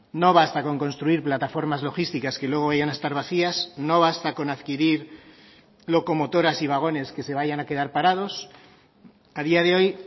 no basta con construir plataformas logísticas que luego vayan a estar vacías no basta con adquirir locomotoras y vagones que se vayan a quedar parados a día de hoy